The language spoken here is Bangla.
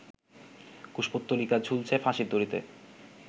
কুশপুত্তলিকা ঝুলছে ফাঁসির দড়িতে